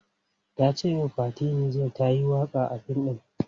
Ta ce min Fati Niger ta yi waka a fim ɗin.